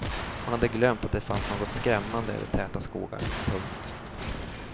Hon hade glömt att det fanns något skrämmande över täta skogar. punkt